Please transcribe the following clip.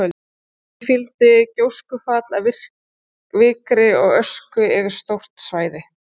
Því fylgdi gjóskufall af vikri og ösku yfir stórt svæði.